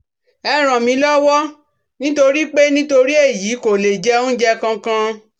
ẹ ràn mí lọ́wọ́ nítorí pé nítorí èyí, kò lè jẹ oúnjẹ kankan